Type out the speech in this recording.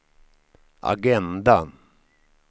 agenda